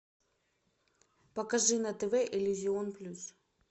покажи на тв иллюзион плюс